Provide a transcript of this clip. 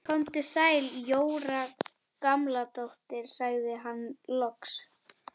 Komdu sæl Jóra Gamladóttir sagði hann loks.